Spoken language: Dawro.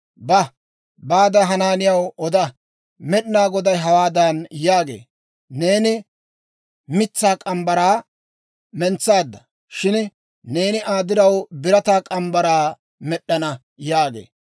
«Ba; baade Hanaaniyaw oda; Med'inaa Goday hawaadan yaagee; ‹Neeni mitsaa morgge mitsaa mentsaadda; shin neeni Aa diraw birataa morgge mitsaa med'd'ana› yaagee.